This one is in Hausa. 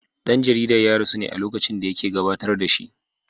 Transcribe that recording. Dan jaridar ya rasu ne a lokacin da yake gabatar da shi.